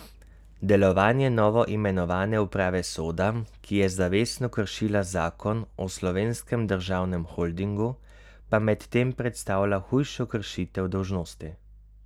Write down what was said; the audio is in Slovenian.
Delovanje novoimenovane uprave Soda, ki je zavestno kršila zakon o Slovenskem državnem holdingu, pa medtem predstavlja hujšo kršitev dolžnosti.